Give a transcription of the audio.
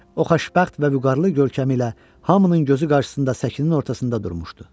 O xoşbəxt və vüqarlı görkəmi ilə hamının gözü qarşısında səkinin ortasında durmuşdu.